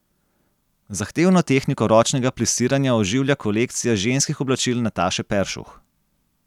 Zahtevno tehniko ročnega plisiranja oživlja kolekcija ženskih oblačil Nataše Peršuh.